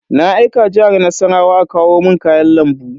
Na aika Jihar Nassarawa a kawo mun kayan lambu.